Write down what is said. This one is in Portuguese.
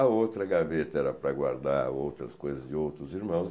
A outra gaveta era para guardar outras coisas de outros irmãos.